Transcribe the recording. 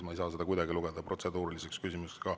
Ma ei saa seda kuidagi lugeda protseduuriliseks küsimuseks.